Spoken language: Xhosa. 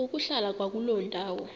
ukuhlala kwakuloo ndawo